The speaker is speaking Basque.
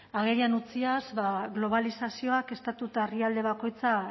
agerian utziaz ba globalizazioak estatu eta herrialde bakoitza